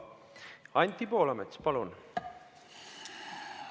Anti Poolamets, palun!